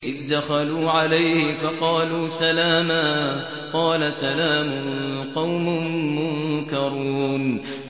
إِذْ دَخَلُوا عَلَيْهِ فَقَالُوا سَلَامًا ۖ قَالَ سَلَامٌ قَوْمٌ مُّنكَرُونَ